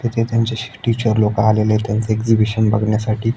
तिथे त्यांचे टीचर लोकं आलेले आहेत त्यांचं एग्झिबिशन बघण्यासाठी.